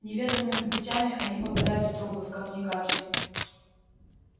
неведомыми путями они попадают в трубы в коммуникации